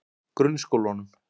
Grunnskólanum